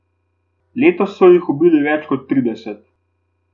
Letos so jih ubili več kot trideset.